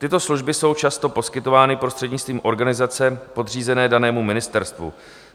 Tyto služby jsou často poskytovány prostřednictvím organizace podřízené danému ministerstvu.